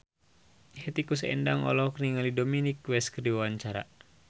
Hetty Koes Endang olohok ningali Dominic West keur diwawancara